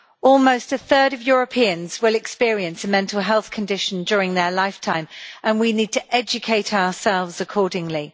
Almost a third of Europeans will experience a mental health condition during their lifetime and we need to educate ourselves accordingly.